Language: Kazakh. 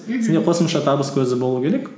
мхм сенде қосымша табыс көзі болу керек